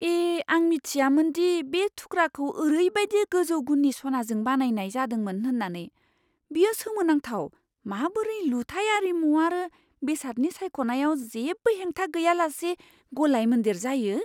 ए, आं मिथियामोन दि बे थुख्राखौ ओरैबायदि गोजौ गुननि सनाजों बानायनाय जादोंमोन होन्नानै। बेयो सोमोनांथाव माबोरै लुथाइ आरिमु आरो बेसादनि सायख'नायआव जेबो हेंथा गैयालासे गलायमोनदेर जायो!